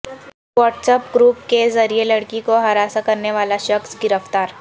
what's app group کے ذریعہ لڑکی کو ہراساں کرنے والا شخص گرفتار